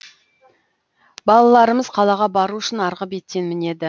балаларымыз қалаға бару үшін арғы беттен мінеді